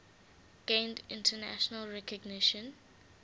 gained international recognition